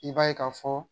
I b'a ye ka fɔ